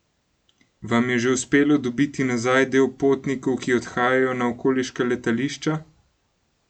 Vam je že uspelo dobiti nazaj del potnikov, ki odhajajo na okoliška letališča?